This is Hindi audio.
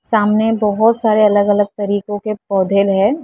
सामने बहुत सारे अलग अलग तरीकों के पौधे हैं।